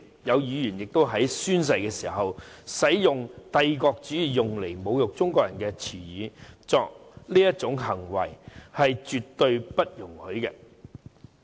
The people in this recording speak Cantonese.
有議員在宣誓的時候使用帝國主義用來侮辱中國人的言詞，作出這種行為是絕對不容許的。